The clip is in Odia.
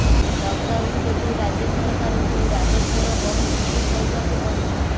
ଲକଡାଉନ ଯୋଗୁଁ ରାଜ୍ୟ ସରକାରଙ୍କୁ ରାଜସ୍ୱର ବହୁ କ୍ଷତି ସହିବାକୁ ପଡୁଛି